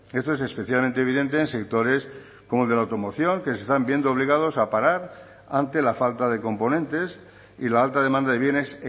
esto es especialmente evidente en sectores como el de la automoción que se están viendo obligados a parar ante la falta de componentes y la alta demanda de bienes